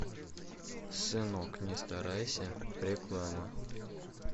сынок не старайся реклама